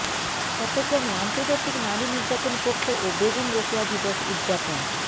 চট্টগ্রামে আর্ন্তজাতিক নারী নির্যাতন পক্ষ ও বেগম রোকেয়া দিবস উদযাপন